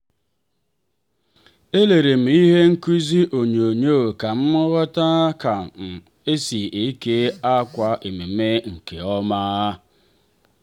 elere m ihe nkuzi onyonyoo ka m ghọta ka um esi eke akwa ememme nke ọma.